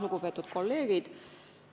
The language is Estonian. Lugupeetud kolleegid!